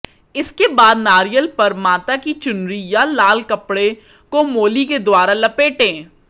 इसके बाद नारियल पर माता की चुनरी या लाल कपड़े को मोली के द्वारा लपेटें